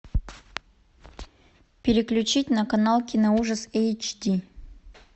переключить на канал киноужас эйчди